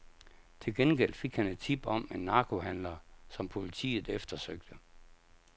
Til gengæld fik han et tip om en narkohandler, som politiet eftersøgte.